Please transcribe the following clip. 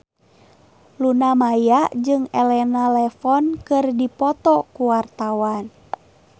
Luna Maya jeung Elena Levon keur dipoto ku wartawan